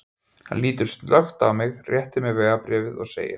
Hann lítur snöggt á mig, réttir mér vegabréfið og segir